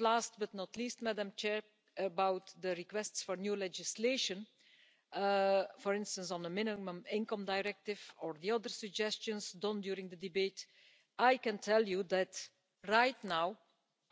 Last but not least, Madam President, about the requests for new legislation, for instance on a minimum income directive or the other suggestions made during the debate, I can tell you that right now